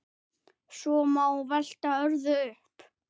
Svo má velta öðru upp.